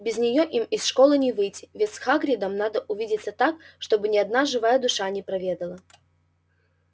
без нее им из школы не выйти ведь с хагридом надо увидеться так чтобы ни одна живая душа не проведала